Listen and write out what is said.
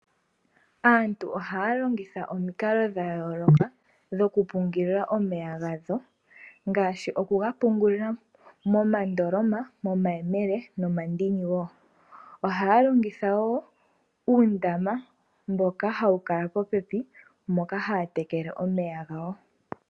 Aantu ohaya longitha omikalo dha yooloka dho ku pungula omeya gawo, ngaashi oku ga pungulila momandoloma, momayemele nomomandini wo. Ohaya longitha wo uundama mboka hawu kala popepi, moka haya tekele omeya gawo.